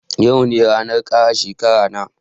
Yau ne ranan kara shekara na